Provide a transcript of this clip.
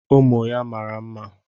Ụmụ ya mara mma.